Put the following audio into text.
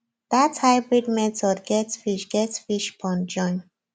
that hybrid method get fish get fish pond join